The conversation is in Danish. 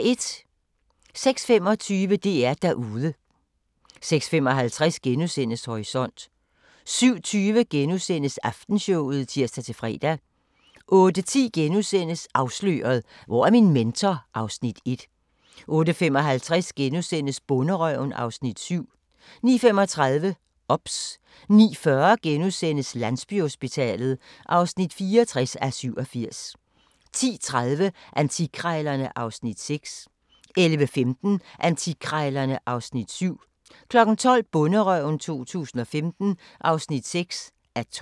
06:25: DR-Derude 06:55: Horisont * 07:20: Aftenshowet *(tir-fre) 08:10: Afsløret – Hvor er min mentor? (Afs. 1)* 08:55: Bonderøven (Afs. 7)* 09:35: OBS 09:40: Landsbyhospitalet (64:87)* 10:30: Antikkrejlerne (Afs. 6) 11:15: Antikkrejlerne (Afs. 7) 12:00: Bonderøven 2015 (6:12)